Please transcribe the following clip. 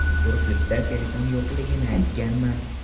Urgutda telefon yo‘qligini aytganman.